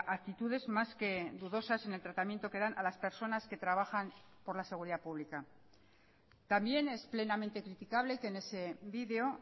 actitudes más que dudosas en el tratamiento que dan a las personas que trabajan por la seguridad pública también es plenamente criticable que en ese vídeo